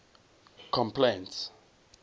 complaints